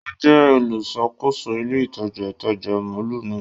O jẹ oluṣakoso ile itaja itaja mọllu nàa.